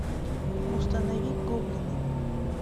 установи гоблины